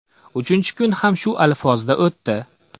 Uchinchi kun ham shu alfozda o‘tdi.